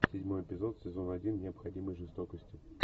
седьмой эпизод сезон один необходимой жестокости